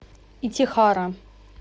итихара